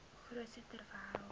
hoogste ter wêreld